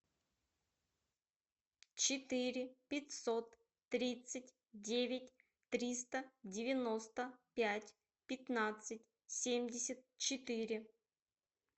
четыре пятьсот тридцать девять триста девяносто пять пятнадцать семьдесят четыре